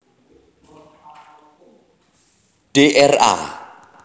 Dra